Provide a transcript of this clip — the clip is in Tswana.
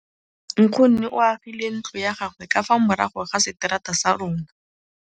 Nkgonne o agile ntlo ya gagwe ka fa morago ga seterata sa rona.